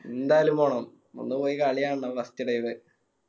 എന്താലും പോണം ഒന്ന് പോയി കളി കാണണം First time